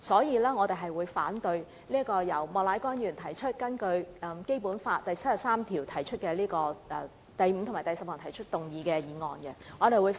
因此，我們反對由莫乃光議員根據《基本法》第七十三條第五項及第十項動議的議案。